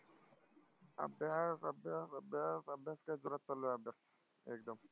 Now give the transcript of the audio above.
अभ्यास अभ्यास अभ्यास अभ्यास काय जोरात चालू आहे अभ्यास एकदम.